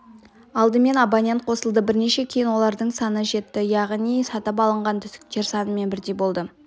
алдымен абонент қосылды бірнеше күннен кейін олардың саны жетті яғни сатып алынған түтіктер санымен бірдей болды